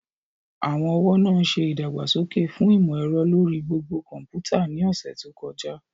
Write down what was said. Àwọn ọ̀wọ́ náà ṣe ìdàgbàsókè fún ìmò ẹ̀rọ lórí gbogbo kọ̀ḿpútà ní ọ̀sẹ̀ tó kọjá